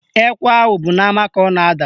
Ekwe ahụ bụ n'ama ka ọ na-ada